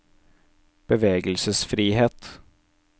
bevegelsesfrihet